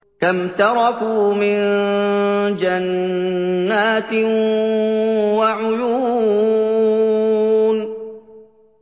كَمْ تَرَكُوا مِن جَنَّاتٍ وَعُيُونٍ